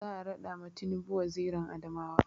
Za a raɗa ma tinubu wazirin Adamawa